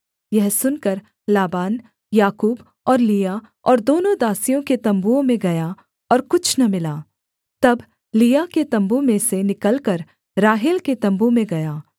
यह सुनकर लाबान याकूब और लिआ और दोनों दासियों के तम्बुओं में गया और कुछ न मिला तब लिआ के तम्बू में से निकलकर राहेल के तम्बू में गया